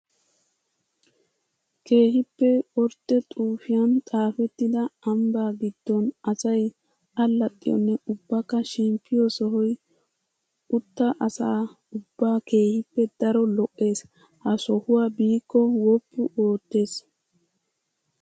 Keehippe ordde xuufiyan xaafetidda ambba giddon asay allaxxiyonne ubbakka shemppiyo sohoy utta asaa ubba keehippe daro lo'ees. Ha sohuwa biiko woppu oottes.